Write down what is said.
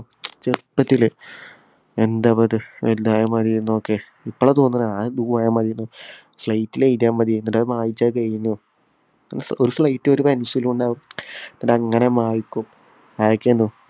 ചെറുപ്പത്തിലെ എന്താ ഇപ്പോത് വലുതായ മതിയൊന്നൊക്കെ. ഇപ്പോളാ തോന്നുന്നേ slate ലെഴുതിയാ മതിയെന്ന്. അത് മായ്ച്ചാ എഴുതാ ഒരു slate ഉം, ഒരു pencil ഉം ഉണ്ടാവും. എന്നിട്ടങ്ങനെ മായ്ക്കും.